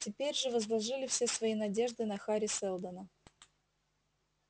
теперь же возложили все свои надежды на хари сэлдона